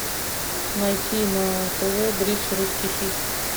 найти на тв бридж русский хит